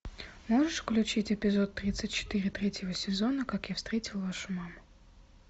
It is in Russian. можешь включить эпизод тридцать четыре третьего сезона как я встретил вашу маму